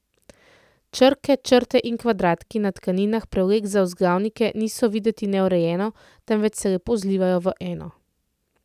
Črke, črte in kvadratki na tkaninah prevlek za vzglavnike niso videti neurejeno, temveč se lepo zlivajo v eno.